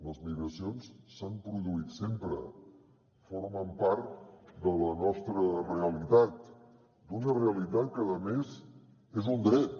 les migracions s’han produït sempre formen part de la nostra realitat d’una realitat que a més és un dret